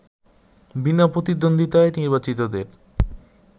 বিনা প্রতিদ্বন্দ্বিতায় নির্বাচিতদের